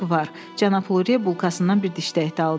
Cənab Lurie bulkasından bir dişdəkdə aldı.